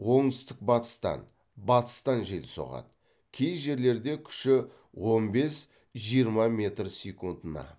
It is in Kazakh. оңтүстік батыстан батыстан жел соғады кей жерлерде күші он бес жиырма метр секундына